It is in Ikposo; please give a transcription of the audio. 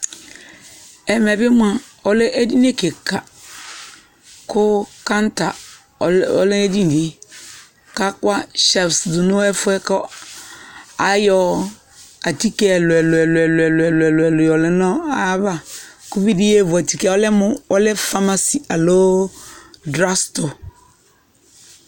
Ɛmɛ bi moa ɔlɛ edini kika kʋ kaŋta ɔlɛ nʋ edini e kʋ akɔ hyɛlfu dʋ nʋ ɛfuɛ kʋ ayɔ atike ɛlʋ-ɛlʋ-ɛlʋ-ɛlʋ-ɛlʋ-ɛlʋ yɔlɛ nʋ ayava kʋ uvi di yeevu atike, ɔlɛ mʋ ɔlɛ famasi aloo drag sʋtɔ